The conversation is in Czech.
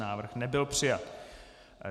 Návrh nebyl přijat.